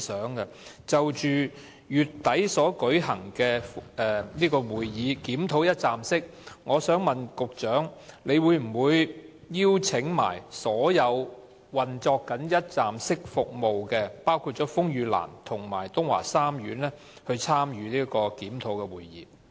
就着將於月底舉行的"一站式"服務會議，我想問局長會否一併邀請正在提供"一站式"服務的機構，包括風雨蘭及東華三院，參與有關的檢討會議？